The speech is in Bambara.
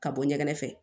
Ka bɔ ɲɛgɛn fɛ